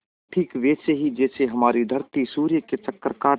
ठीक वैसे ही जैसे हमारी धरती सूर्य के चक्कर काटती है